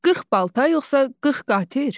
40 balta yoxsa 40 qatır?